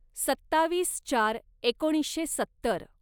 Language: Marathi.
सत्तावीस चार एकोणीसशे सत्तर